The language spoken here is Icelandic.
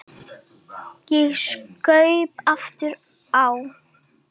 Ég saup aftur á.